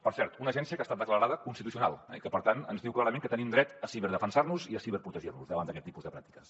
per cert una agència que ha estat declarada constitucional i que per tant ens diu clarament que tenim dret a ciberdefensar nos i a ciberprotegir nos davant d’aquest tipus de pràctiques